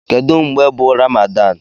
Kedu mgbe bu Ramadan?